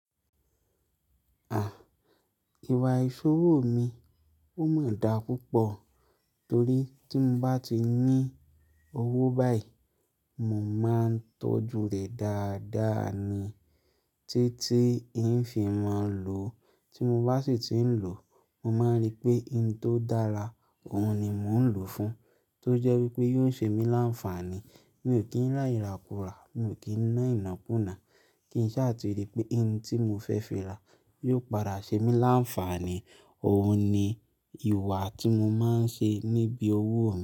À, ìwà ìṣòwò mi, o máa dà púpọ̀ torí tí mo bá ti ní owó báyìí, mo máa ń tọ́jú rẹ̀ dáadáa ni. Tí tí ń fi máa lò, tí mo bá sì ti ń lò, mo máa ń rí pé ohun tó dára, òhun ni mò ń lò fún, tó jẹ́ wípé yóò ṣe mí láǹfààní. Mi ò kí ń ra irà kùrà, mi ò kí ń ná iná kunà. Kì n sáà ti rí pé in tí mo fẹ́ fi rà yóò padà ṣe mí láǹfààní. Òhun ni ìwà tí mo máa ń ṣe níbi owó.